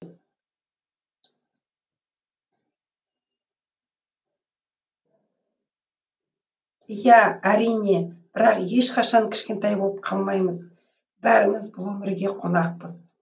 иә әрине бірақ ешқашан кішкентай болып қалмаймыз бәріміз бұл өмірге қонақпыз